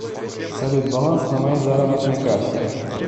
салют баланс на моей заработной карте